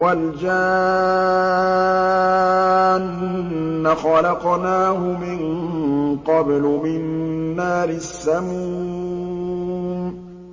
وَالْجَانَّ خَلَقْنَاهُ مِن قَبْلُ مِن نَّارِ السَّمُومِ